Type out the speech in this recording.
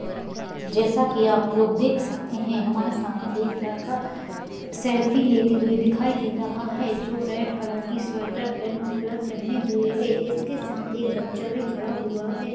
जैसा कि आप लोग देख सकते है हमारे सामने एक लड़का सेल्फी लेते हुये दिखाई दे रहा है जो रेड कलर की स्वेटर एंड मफलर पहने हुआ है। इसके साथ एक बच्चा भी खड़ा हुआ है।